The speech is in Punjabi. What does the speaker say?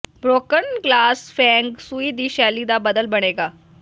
ਬ੍ਰੋਕਨ ਗਲਾਸ ਫੇਂਗ ਸ਼ੂਈ ਦੀ ਸ਼ੈਲੀ ਦਾ ਬਦਲ ਬਣੇਗਾ